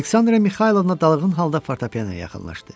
Aleksandra Mixaylovna dalğın halda fortepianoya yaxınlaşdı.